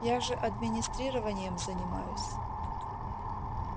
я же администрированием занимаюсь